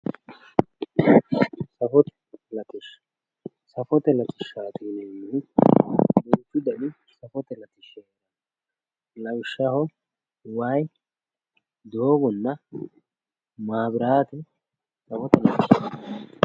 safote latishsha safote latishshaati yineemmohu duuchu dani safote latishshi heeranno lawishshaho wayii doogonna maabiraate safote latishshaati.